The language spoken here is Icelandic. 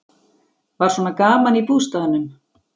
Var svona gaman í bústaðnum?